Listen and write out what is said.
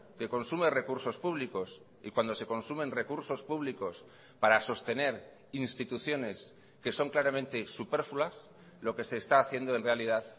que consume recursos públicos y cuando se consumen recursos públicos para sostener instituciones que son claramente superfluas lo que se está haciendo en realidad